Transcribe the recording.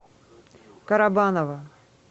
карабаново